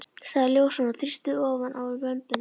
sagði ljósan og þrýsti ofan á vömbina.